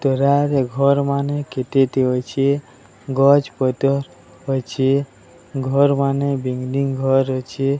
ତୋରାରେ ଘର୍ ମାନେ କେତେଟି ଅଛେ। ଗଛ୍ ପତର୍ ଅଛେ। ଘର୍ ମାନେ ବିଂଗି୍ଡିଂନ୍ ଘର୍ ଅଛେ।